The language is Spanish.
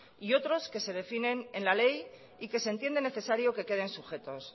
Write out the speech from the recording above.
y otros que se definen en la ley y que se entiende necesario que queden sujetos